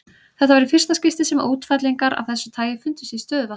Þetta var í fyrsta skipti sem útfellingar af þessu tagi fundust í stöðuvatni.